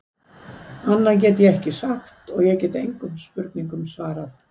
Annað get ég ekki sagt og ég get engum spurningum svarað.